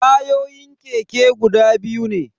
Tayoyin keke guda biyu ne.